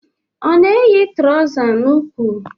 Ọ na eyi trousa n'úkwù?